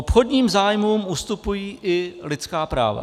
Obchodním zájmům ustupují i lidská práva.